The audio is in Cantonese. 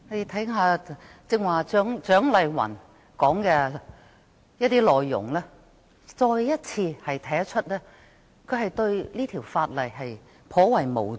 聽罷剛才蔣麗芸議員的發言內容，便可知道她對這法例頗為無知。